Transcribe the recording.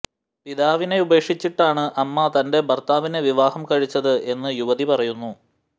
പിതാവിനെ ഉപേക്ഷിച്ചിട്ടാണ് അമ്മ തന്റെ ഭര്ത്താവിനെ വിവാഹം കഴിച്ചത് എന്ന് യുവതി പറയുന്നു